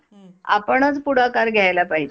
आपणंच पुढाकार घायला पाहिजे.